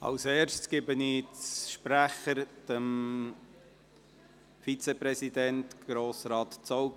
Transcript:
Zuerst gebe ich dem Vizepräsidenten, Grossrat Zaugg.